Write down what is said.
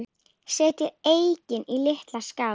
Setjið eggin í litla skál.